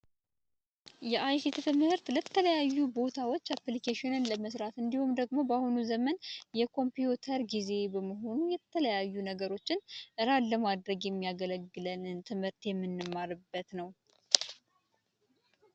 የአይሲቲ ትምህርት ለተለያዩ ቦታዎች አፕሊኬሽን ለመስራት እንዲሁም ደግሞ በአሁኑ ዘመን የኮምፒውተር ጊዜ በመሆነ የተለያዩ ነገሮችን ራን ለማድረግ የሚያገለግለንን ትምህርት የምንማርበት ነው።